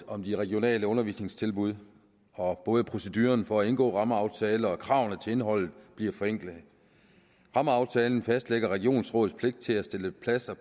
om de regionale undervisningstilbud og både proceduren for at indgå en rammeaftale og kravene til indholdet bliver forenklet rammeaftalen fastlægger regionsrådets pligt til at stille pladser